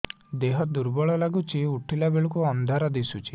ଦେହ ଦୁର୍ବଳ ଲାଗୁଛି ଉଠିଲା ବେଳକୁ ଅନ୍ଧାର ଦିଶୁଚି